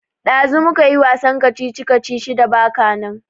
Ɗazu mu kayi wasan kacici-kacici da baka nan.